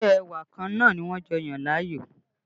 Isẹ́ ẹwà kan náà ni wọ́n jọ yàn láàyò